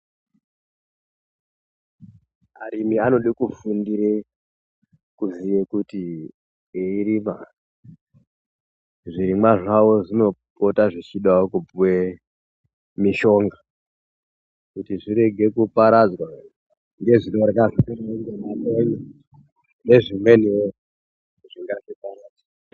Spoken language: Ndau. Arimi anode kufundire kuziye kuti eirima zvirimwa zvavo zvinopota zvichidawo kupuwe mishonga kuti zvirege kuparadzwa ngezvonorya, nezvimweniwo zvingazviparadza.